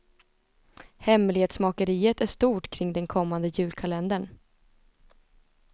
Hemlighetsmakeriet är stort kring den kommande julkalendern.